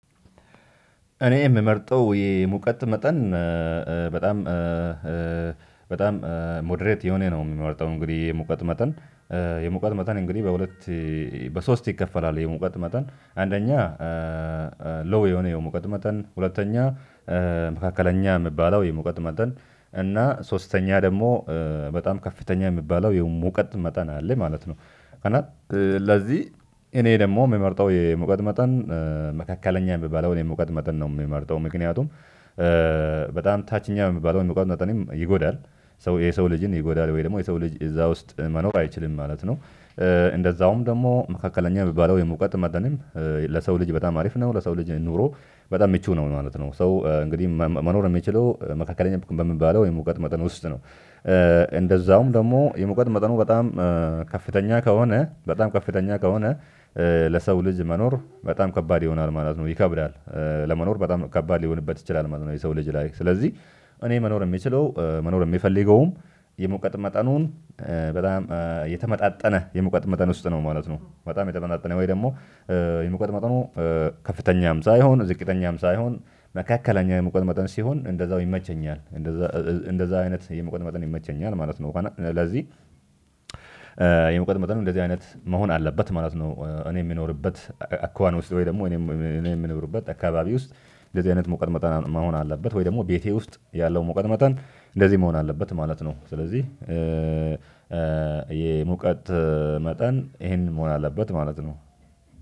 እኔ የምመርጠው የሙቀት መጠን በጣም በጣም ሞደሬት የሆነ ነው የምመርጠው። እንግዲህ የሙቀት መጠን የሙቀት መጠን እንግዲህ በሁለት በሶስት ይከፈላል የሙቀት መጠን አንደኛ ሎው የሆነ የሙቀት መጠን ሁለተኛ መካከለኛ የሚባለው የሙቀት መጠን እና ሶስተኛ ደግሞ በጣም ከፍተኛ የሚባለው የ ሙቀት መጠን አለ ማለት ነው። እና ለዚህ እኔ ደግሞ የምመርጠው የሙቀት መጠን መካከለኛ የሚባለውን የሙቀት መጠን ነው የምመርጠው። ምክንያቱም ታችኛ የሚባለውን የሙቀት መጠንን ይጎዳል የሰው ልጅን ይጎዳል ወይ ደግሞ የሰው ልጅ እዛ ውስጥ መኖር አይችልም ማለት ነው። እንደዛውም ደግሞ መካከለኛ የሚባለው የሙቀት መጠንም ለሰው ልጅ በጣም አሪፍ ነው ለሰው ልጅ ኖሮ በጣም ምቹ ነው ማለት ነው። ሰው እንግዲህ መኖር የሚችለው መካከለኛ በሚባለው የሙቀት መጠን ውስጥ ነው። እንደዛውም ደግሞ የሙቀት መጠኑ በጣም ከፍተኛ ከሆነ በጣም ከፍተኛ ከሆነ ለሰው ልጅ መኖር በጣም ከባድ ይሆናል ይከብዳል ለመኖር በጣም ከባድ ሊሆንበት ይችላል ማለት ነው። የሰው ልጅ ላይ ስለዚህ እኔ መኖር የምችለው መኖር የምፈልገውም የሙቀት መጠኑ በጣም የተመጣጠነ የሙቀት መጠን ውስጥ ነው ማለት ነው። በጣም የተመጣጠነ ወይ ደግሞ የሙቀት መጠኑ ከፍተኛም ሳይሆን ዝቅተኛም ሳይሆን መካከለኛ የሙቀት መጠን ሲሆን እንደዛው ይመቸኛል እንደዛ እንደዛ አይነት የሙቀት መጠን ይመቸኛል ማለት ነው። ስለዚህ የሙቀት መጠኑ እንደዚህ አይነት መሆን አለበት ማለት ነው። እኔ የምኖርበት አኳኋን ውስጥ ወይ ደግሞ እኔ እኔ የምኖርበት አካባቢ ውስጥ እንደዚህ አይነት ሙቀት መጠን መሆን አለበት ወይ ደግሞ ቤቴ ውስጥ ያለው ሙቀት መጠን እንደዚህ መሆን አለበት ማለት ነው። ስለዚህ የሙቀት መጠን ይሄንን መሆን አለበት ማለት ነው።